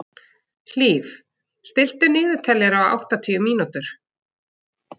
Hlíf, stilltu niðurteljara á áttatíu mínútur.